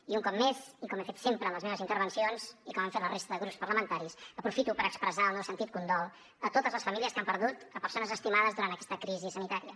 i un cop més i com he fet sempre en les meves intervencions i com han fet la resta de grups parlamentaris aprofito per expressar el meu sentit condol a totes les famílies que han perdut persones estimades durant aquesta crisi sanitària